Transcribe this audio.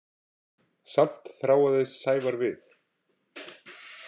Samt þráaðist Sævar við.